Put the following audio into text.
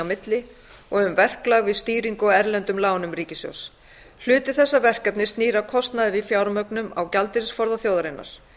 milli og um verklag við stýringu á erlendum lánum ríkissjóðs hluti þessa verkefnis snýr að kostnaði við fjármögnun á gjaldeyrisforða þjóðarinnar